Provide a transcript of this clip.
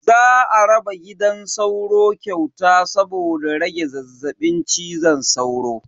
Za a raba gidan sauro kyauta saboda rage zazzabin cizon sauro.